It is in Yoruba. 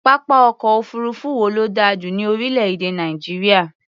Pápá ọ̀kọ̀ òfuurufú wo ló dà jù lọ ní orílẹ̀-èdè Nàìjíríà?